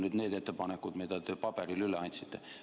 Need on need ettepanekud, mis te paberil üle andsite.